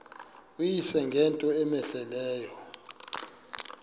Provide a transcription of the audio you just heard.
uyise ngento cmehleleyo